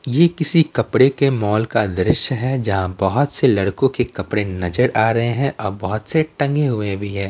ये किसी कपड़े के मॉल का दृश्य है जहाँ बहुत से लड़कों के कपड़े नजर आ रहे हैं और बहुत से टंगे हुए भी हैं।